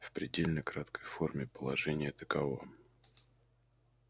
в предельно краткой форме положение таково